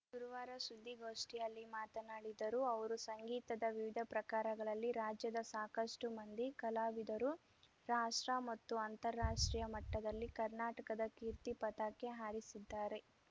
ಗುರುವಾರ ಸುದ್ದಿಗೋಷ್ಠಿಯಲ್ಲಿ ಮಾತನಾಡಿದರು ಅವರು ಸಂಗೀತದ ವಿವಿಧ ಪ್ರಕಾರಗಳಲ್ಲಿ ರಾಜ್ಯದ ಸಾಕಷ್ಟುಮಂದಿ ಕಲಾವಿದರು ರಾಷ್ಟ್ರ ಮತ್ತು ಅಂತಾರಾಷ್ಟ್ರೀಯ ಮಟ್ಟದಲ್ಲಿ ಕರ್ನಾಟಕದ ಕೀರ್ತಿ ಪತಾಕೆ ಹಾರಿಸಿದ್ದಾರೆ